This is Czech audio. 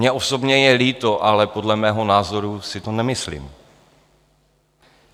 Mně osobně je líto, ale podle mého názoru si to nemyslím.